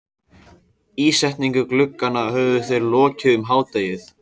Ísetningu glugganna höfðu þeir lokið um hádegið.